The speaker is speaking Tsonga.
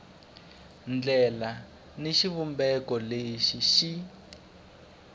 ndlela ni xivumbeko lexi xi